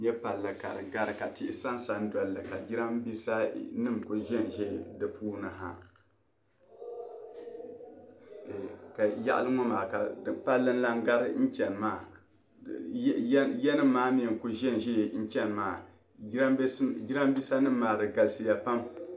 ya palli ka di gari ka tihi saya saya doli ka jiranmiinsa kuli za zan di puuni ha ka nyaɣili ŋɔ maa palli lan gari chani maa yanima kuli za zaya chani maa jiranmiinsanima galisaya pam